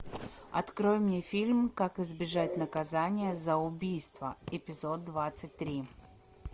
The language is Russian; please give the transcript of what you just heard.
открой мне фильм как избежать наказания за убийство эпизод двадцать три